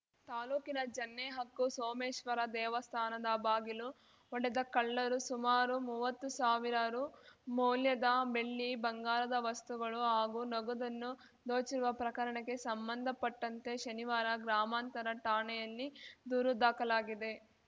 ತಾಲೂಕಿನ ಜನ್ನೆಹಕ್ಕು ಸೋಮೇಶ್ವರ ದೇವಸ್ಥಾನದ ಬಾಗಿಲು ಒಡೆದ ಕಳ್ಳರು ಸುಮಾರು ಮುವತ್ತು ಸಾವಿರ ರು ಮೌಲ್ಯದ ಬೆಳ್ಳಿ ಬಂಗಾರದ ವಸ್ತುಗಳು ಹಾಗೂ ನಗದನ್ನು ದೋಚಿರುವ ಪ್ರಕರಣಕ್ಕೆ ಸಂಬಂಧಪಟ್ಟಂತೆ ಶನಿವಾರ ಗ್ರಾಮಾಂತರ ಠಾಣೆಯಲ್ಲಿ ದೂರು ದಾಖಲಾಗಿದೆ